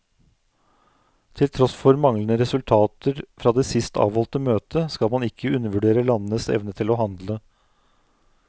Til tross for manglende resultater fra det sist avholdte møtet, skal man ikke undervurdere landenes evne til å handle.